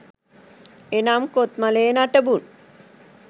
එනම් කොත්මලේ නටබුන්